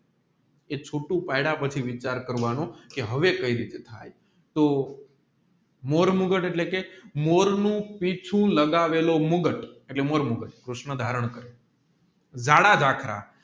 એ ચૂંટુ પડ્યા પછી વિચાર કરવાનું કે હવે કઈ રીતે થાય તો મોરે મુગાથ એટલે કે મોરનું પીંછું લગાવેલું મુગાથ એટલે મોર મુગાથ કૃષ્ણ ધારણ કરે જાડા જાખરા